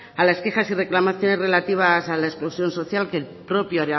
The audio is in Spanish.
a las quejas y reclamaciones relativas a la exclusión social que creo que el